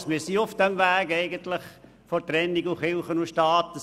Ich denke, wir sind schon auf dem Weg der Trennung von Kirche und Staat.